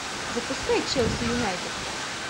запускай челси юнайтед